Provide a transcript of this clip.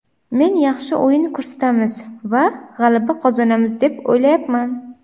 Men yaxshi o‘yin ko‘rsatamiz va g‘alaba qozonamiz deb o‘ylayapman.